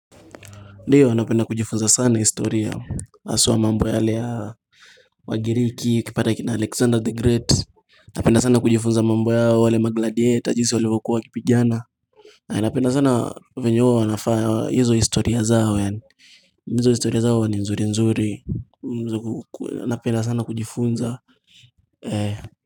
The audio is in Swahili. Ndiyo napenda kujifunza sana historia haswa mambo yale ya Wagiriki ukipata kina Alexander the Great napenda sana kujifunza mambo yao wale magladiator jinsi walivyokuwa wakipigana na napenda sana venye huwa wanafanya hizo historia zao ya hizo historia zao ni nzuri nzuri napenda sana kujifunza eh.